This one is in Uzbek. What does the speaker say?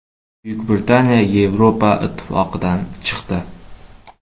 Buyuk Britaniya Yevropa Ittifoqidan chiqdi.